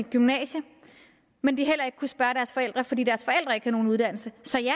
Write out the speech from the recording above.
gymnasiet men heller ikke kunne spørge deres forældre fordi deres forældre ikke havde nogen uddannelse så ja